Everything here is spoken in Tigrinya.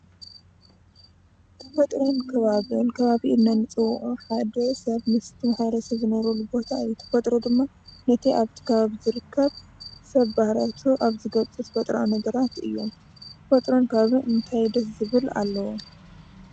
ተፈጥሮን ከባብን ፦ከባቢ ኢልና ንፅውዖ ሓደ ሰብ ምስቲ ማሕረሰብ ዝነብረሉ ቦታ እዩ። ተፈጥሮ ድማ ነቲ ኣብቲ ከባቢ ዝርከብ ሰብ ባህሪያቱ ኣብ ዝገልፆ ተፈጥራዊ ነገራት እዮም። ተፈጥሮን ከባብን እንታይ ደስ ዝብል ኣለዎም?